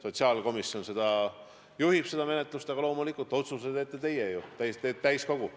Sotsiaalkomisjon juhib seda menetlust, aga loomulikult otsuse teete teie, täiskogu.